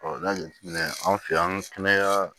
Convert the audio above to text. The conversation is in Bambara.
n y'a jateminɛ an fɛ yan